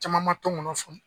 Caman man tɔnkɔnɔn faamu.